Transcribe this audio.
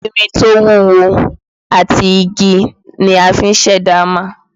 Irin tí ó wúwo àti igi ni a fi ṣẹ̀dá hámà